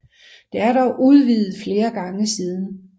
Det er dog udvidet flere gange siden